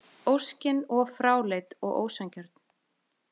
Óskin of fráleit og ósanngjörn.